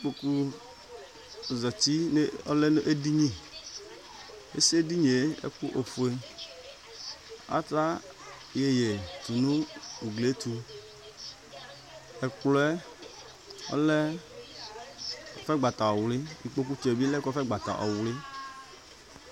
Kpokʋ zati ɔlɛnʋ edɩnɩ, asi edinie ofue, ata yeye tʋnʋ ugli yɛ tʋ, ɛkplɔɛ ɔlɛ kɔfɛgbata ɔwlɩ ikpokʋtsʋ yɛ bilɛ lɛ ɔwlɩ.